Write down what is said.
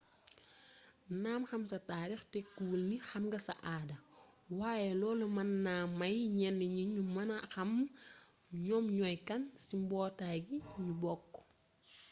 naam xam sa taarix tekkiwul nix am nga sa aada waaye loolu mën na may ñenn ñi ñu mën a xam ñoom ñooy kan ci mbootaay gi ñu bokk